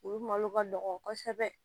U malo ka nɔgɔn kosɛbɛ